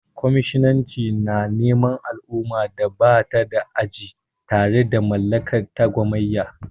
Kwaminisanci na neman al'ummar da ba ta da aji tare da mallaka ta gamayya.